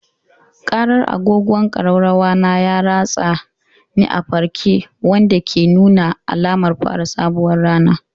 Ƙarar agogon ƙararrawa na ya ratsa ni a farke, wanda ke nuna alamar fara sabuwar rana.